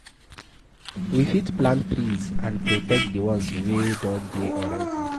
We fit plant trees and protect di ones wey don dey already